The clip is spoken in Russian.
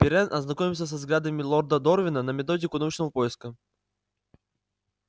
пиренн ознакомился со взглядами лорда дорвина на методику научного поиска